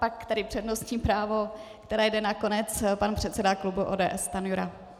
Pak tedy přednostní právo, které jde na konec, pan předseda klubu ODS Stanjura.